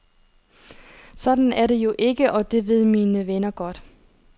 Sådan er det jo ikke, og det ved mine venner godt.